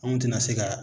Anw tɛna se ka